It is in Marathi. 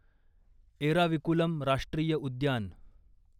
एराविकुलम राष्ट्रीय उद्यान